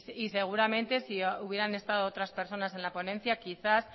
y seguramente si hubieran estado otras personas en la ponencia quizás